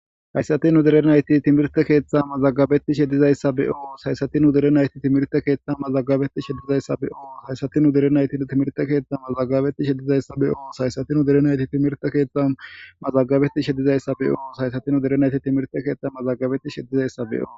Hayssati udere nayti timirte keeththa mazagabeti sheddizayssa beoo sayssati nu dere nayti timirte keeththa mazagabeti sheddizayssa be'oo hayssati nu derenayti timirte keeththa mazagabeti sheddizayssa be'oo saysati uderenayti timirte keettha mazagabeti sheddizayssa be'o sayssati u derenayti timirte keeththa mazagabeti sheddizayssa be'oo.